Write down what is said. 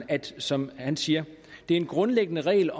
at det som han siger er en grundlæggende regel